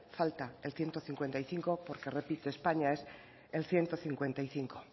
falta el ciento cincuenta y cinco porque repito españa es el ciento cincuenta y cinco